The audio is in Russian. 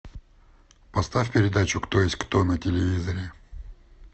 поставь передачу кто есть кто на телевизоре